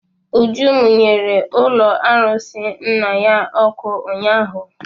Uju mụnyere ụlọ arụsị nna ya ọkụ ụnyaahụ.